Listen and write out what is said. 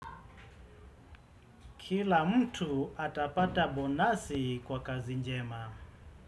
Kila mtu atapata bonasi kwa kazi njema.